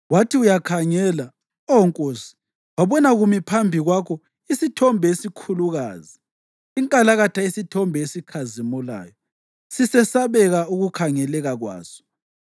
Wathi uyakhangela, Oh nkosi, wabona kumi phambi kwakho isithombe esikhulukazi, inkalakatha yesithombe esikhazimulayo, sisesabeka ukukhangeleka kwaso.